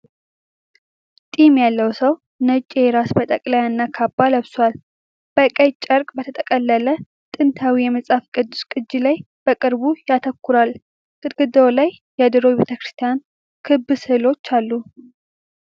ጢም ያለው ሰው ነጭ የራስ መጠቅለያ እና ካባ ለብሷል። በቀይ ጨርቅ በተጠቀለለ ጥንታዊ የመጽሐፍ ቅዱስ ቅጂ ላይ በቅርብ ያተኩራል። ግድግዳው ላይ የድሮ የቤተክርስቲያን ቅብ ሥዕሎች አሉ።